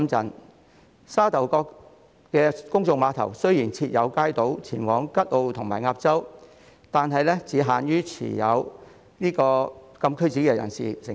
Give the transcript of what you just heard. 雖然沙頭角公眾碼頭設有街渡前往吉澳和鴨洲，但只限於持有禁區紙的人士乘搭。